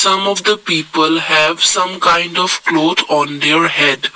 some of the people have some kind of cloth on their head.